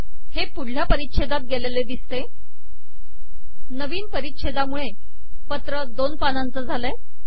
हे पुढल्या परिच्छेदात गेलेले दिसतेनविन परिच्छेदामुळे पत्र दोन पानांचे झाले आहे